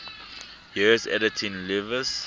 years editing lewes's